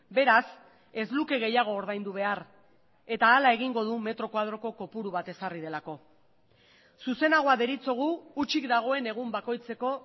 beraz ez luke gehiago ordaindu behar eta hala egingo du metro koadroko kopuru bat ezarri delako zuzenagoa deritzogu hutsik dagoen egun bakoitzeko